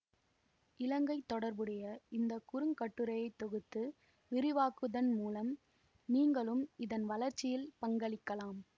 இலங்கை தொடர்புடைய இந்த குறுங்கட்டுரையை தொகுத்து விரிவாக்குவதன் மூலம் நீங்களும் இதன் வளர்ச்சியில் பங்களிக்கலாம்